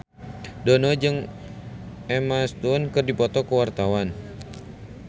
Dono jeung Emma Stone keur dipoto ku wartawan